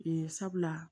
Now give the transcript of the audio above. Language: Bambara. Yen sabula